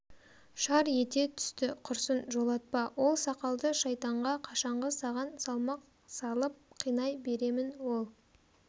шар ете түсті құрсын жолатпа ол сақалды шайтанға қашанғы саған салмақ салып қинай беремін ол